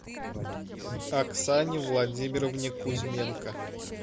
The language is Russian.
оксане владимировне кузьменко